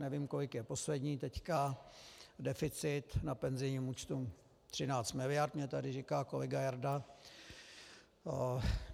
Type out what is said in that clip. Nevím, kolik je poslední teď deficit na penzijním účtu, 13 miliard mi tady říká kolega Jarda .